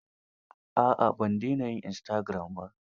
A'a, ban dena yin istagiram ba.